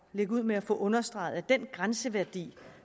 lægge ud med at få understreget at den grænseværdi